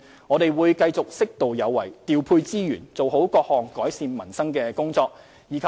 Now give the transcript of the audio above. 我們會繼續適度有為，調配資源，做好各項改善民生的工作。